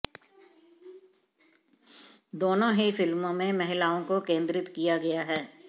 दोनों ही फिल्मों में महिलाओं को केन्द्रित किया गया है